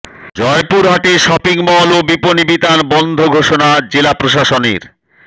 জয়পুরহাটে shopping mall ও বিপণি বিতান বন্ধ ঘোষণা জেলা প্রশাসনের